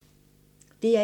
DR1